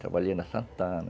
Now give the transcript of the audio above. Trabalhei na Santana.